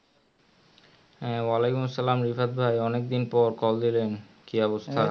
হ্যাঁ ওয়া আলাইকুম আসসালাম রিফাত ভাই অনেক দিন পর call দিলেন কি অবস্থা